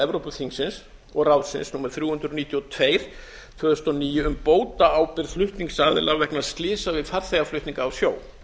evrópuþingsins og ráðsins númer þrjú hundruð níutíu og tvö tvö þúsund og níu um bótaábyrgð flutningsaðila vegna slysa við farþegaflutninga á sjó